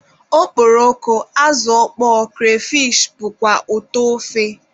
Okporoko, azụ ọkpọọ, kreyfish wdg bụkwa ụtọ ofe.